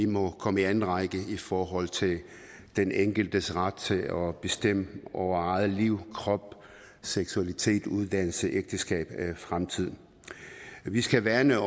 må komme i anden række i forhold til den enkeltes ret til at bestemme over eget liv krop seksualitet uddannelse ægteskab og fremtid vi skal værne